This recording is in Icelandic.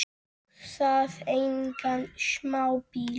Og það engan smábíl.